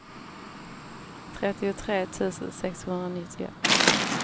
trettiotre tusen sexhundranittioett